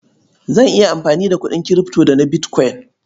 Zan iya amfani da kuɗin kirifto da na bitkwain.